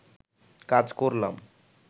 কাজ করলাম